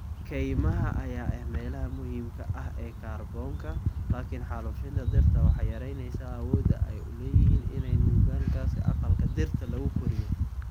Kaymaha ayaa ah meelaha muhiimka ah ee kaarboonka, laakiin xaalufinta dhirta waxay yaraynaysaa awoodda ay u leeyihiin inay nuugaan gaaska aqalka dhirta lagu koriyo.